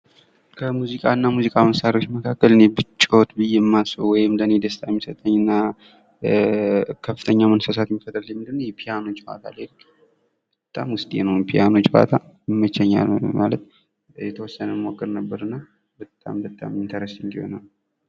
ከሙዚቃ እና ሙዚቃ መሣሪያዎች መካከል እኔ ብጫወት ብየ እማስበው ወይም ለእኔ ደስታን የሚሰጠኝ እና ከፍተኛ መነሳሳትየሚፈጥርልኝ የፒያኖ ጨዋታ በጣም ውስጤ ነው ፒያኖ ጨዋታ ይመቸኛል ማለት የተወሰነም እሞክር ነበር እና በጣም በጣም ኢንተርስቲንግ የሆነ ነው።